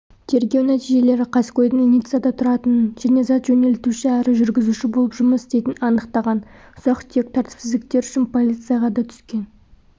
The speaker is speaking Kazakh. тергеу нәтижелері қаскөйдің ниццада тұратынын және зат жөнелтуші әрі жүргізуші болып жұмыс істейтінін анықтаған ұсақ-түйек тәртіпсіздіктер үшін полицияға да түскен